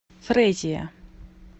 фрезия